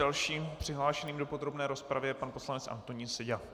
Dalším přihlášeným do podrobné rozpravy je pan poslanec Antonín Seďa.